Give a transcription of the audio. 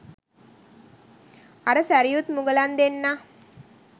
අර සැරියුත් මුගලන් දෙන්නා